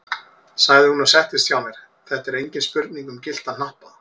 sagði hún og settist hjá mér, þetta er engin spurning um gyllta hnappa!